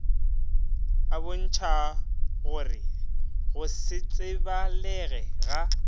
a bontšhagore go setsebalege ga